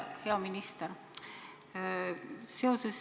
Hea minister!